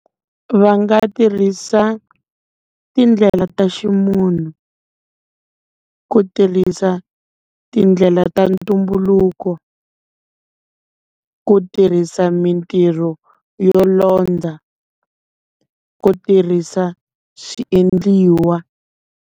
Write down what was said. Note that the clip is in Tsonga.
Va nga tirhisa tindlela ta ximunhu, ku tirhisa tindlela ta ntumbuluko, ku tirhisa mintirho yo londza, ku tirhisa swiendliwa.